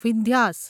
Vindhyas